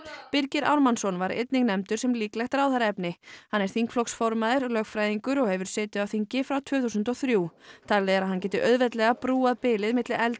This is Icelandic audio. Birgir Ármannsson var einnig nefndur sem líklegt ráðherraefni hann er þingflokksformaður lögfræðingur og hefur setið á þingi frá tvö þúsund og þrjú talið er að hann geti auðveldlega brúað bilið milli eldri